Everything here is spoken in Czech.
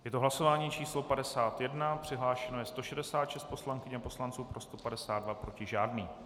Je to hlasování číslo 51, přihlášeno je 166 poslankyň a poslanců, pro 152, proti žádný.